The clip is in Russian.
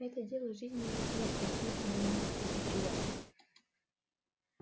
это дело жизни или смерти и смерти довольно-таки неприятной